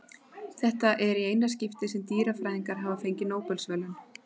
Þetta er í eina skiptið sem dýrafræðingar hafa fengið Nóbelsverðlaun.